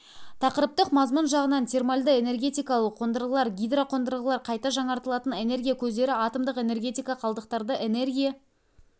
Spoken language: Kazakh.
тақырыптық мазмұн жағынан термальды энергетикалық қондырғылар гидроқондырғылар қайта жаңартылатын энергия көздері атомдық энергетика қалдықтарды энергия